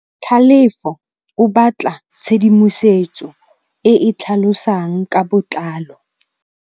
Tlhalefô o batla tshedimosetsô e e tlhalosang ka botlalô.